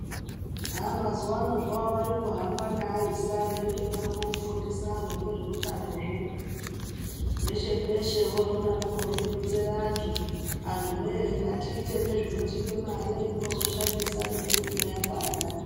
Haa mazuva ano varikuhamba neaisa endodaroko kufundisa antu ngezveutanozvo. Peshe-peshe oro vodaroko veironzera antu, antu voye ngatiite nezvinotipa mare tozoshandisa nemwiri ino yapanda.